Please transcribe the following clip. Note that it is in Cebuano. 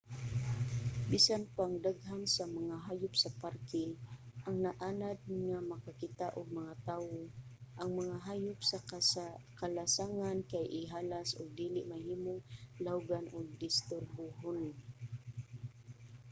bisan pang daghan sa mga hayop sa parke ang naanad na nga makakita og mga tawo ang mga hayop sa kalasangan kay ihalas ug dili mahimong lawgan ug disturbuhon